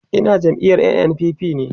Ina jam'iyar NNPP ne